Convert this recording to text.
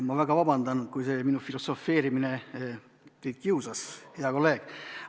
Ma väga vabandan, kui minu filosofeerimine teid kiusas, hea kolleeg!